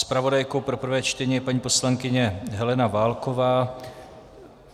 Zpravodajkou pro prvé čtení je paní poslankyně Helena Válková.